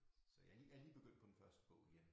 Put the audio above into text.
Så jeg lige er lige begyndt på den første bog igen